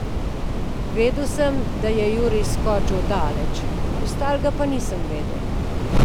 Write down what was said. Vedel sem, da je Jurij skočil daleč, ostalega pa nisem vedel.